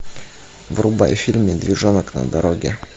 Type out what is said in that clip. врубай фильм медвежонок на дороге